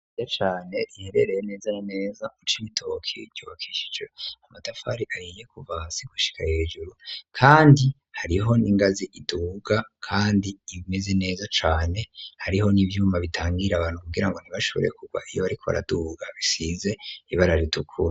A cane riherereye neza na neza ucaimitookie iryokishije amatafari ayiye kuvasi gushika hejuru, kandi hariho n'ingazi iduga, kandi imeze neza cane hariho n'ivyuma bitangira abantu kugira ngo ntibashoborye kurwa iyo bariko baraduga bisize ibarara idukura.